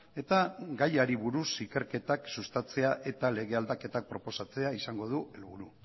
eta gaiari buruz ikerketak sustatzea eta lege aldaketak proposatzea izango du helburu